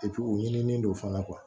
u ɲinini don fana kuwa